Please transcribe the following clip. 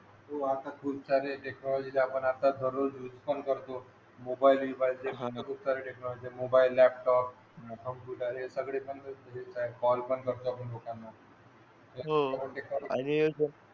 हो आता खूप सारे टेक्नॉलॉजी ते आपण आता दररोज मिस पण करतो mobile enquiry mobile laptop computer हे सगळे ओपन करतो